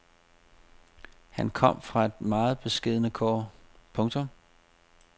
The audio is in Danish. Han kom fra meget beskedne kår. punktum